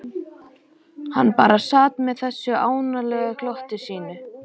Hann bara sat með þessu ánalega glotti sínu.